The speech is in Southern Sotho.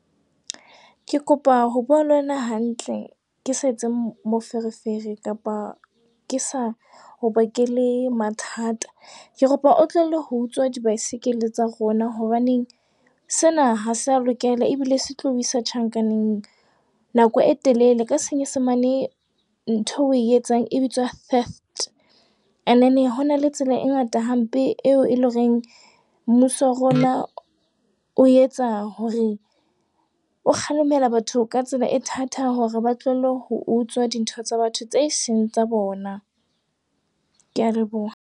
Ke kopa ho bua le wena hantle, ke sa etse moferefere kapa ke sa o bakele mathata. Ke kopa o tlohelle ho utswa di-bicycle tsa rona. Hobaneng sena ha se a lokela ebile se tlo o isa tjhankaneng nako e telele. Ka Senyesemane ntho eo o e etsang e bitswa theft. And then ho na le tsela e ngata hampe eo e loreng mmuso wa rona o etsa hore o kgalemela batho ka tsela e thata hore ba tlohelle ho utswa dintho tsa batho tse seng tsa bona. Kea leboha.